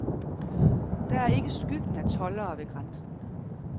Der er ikke skyggen af toldere ved grænsen.